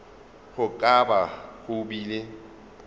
go ka ba go bile